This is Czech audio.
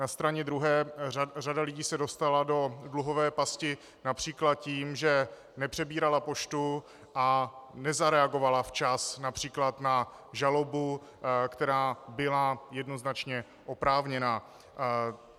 Na straně druhé řada lidí se dostala do dluhové pasti například tím, že nepřebírala poštu a nezareagovala včas například na žalobu, která byla jednoznačně oprávněná.